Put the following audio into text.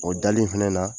O dali in fɛnɛ na